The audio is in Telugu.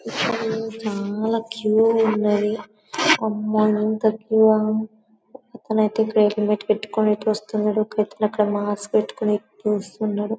ఇక్కడ చాలా క్యూ ఉన్నది అమోయింత క్యూ ఒక అతను ఐతే వెహికల్ పెట్టికొని ఇటు వస్తున్నాడు ఒక అతను మాస్క్ పెట్టికొని ఇటు వస్తున్నాడు.